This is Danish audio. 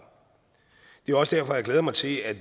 det er også derfor jeg glæder mig til at